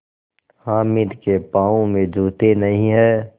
हामिद के पाँव में जूते नहीं हैं